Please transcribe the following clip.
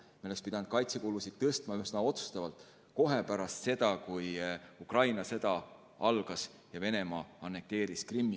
Me oleks pidanud kaitsekulusid suurendama üsna otsustavalt kohe pärast seda, kui puhkes Ukraina sõda ja Venemaa annekteeris Krimmi.